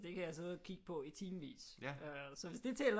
Det kan jeg sidde og kigge på i timevis så hvis det tæller